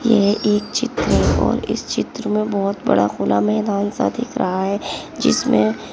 यह एक चित्र है और इस चित्र में बहोत बड़ा खुला मैदान सा दिख रहा है जिसमें--